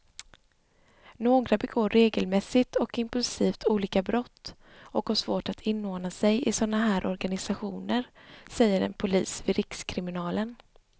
Några begår regelmässigt och impulsivt olika brott och har svårt att inordna sig i såna här organisationer, säger en polis vid rikskriminalen.